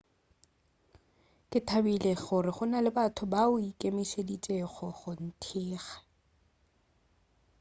ke thabile gore go na le batho bao ba ikemišeditšego go nthekga